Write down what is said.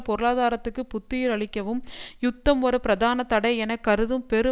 பொருளாதாரத்துக்கு புத்துயிரளிக்கவும் யுத்தம் ஒரு பிரதான தடை என கருதும் பெரு